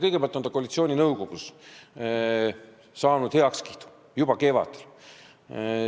Kõigepealt sai see koalitsiooninõukogus heakskiidu, juba kevadel.